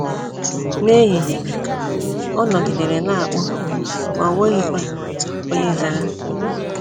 N’ehihie, ọ nọgidere na - akpọ, ma o nweghịkwa onye zara.